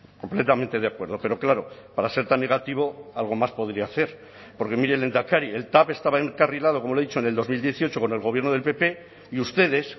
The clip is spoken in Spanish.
completamente de acuerdo pero claro para ser tan negativo algo más podría hacer porque mire lehendakari el tav estaba encarrilado como le he dicho en el dos mil dieciocho con el gobierno del pp y ustedes